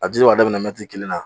A dili b'a daminɛ mɛtiri kelen na.